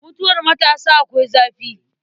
Mutuwar matasa akwai zafi.